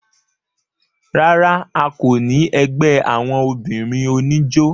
rárá, a kò ní ẹgbẹ́ àwọn obìnrin oníjó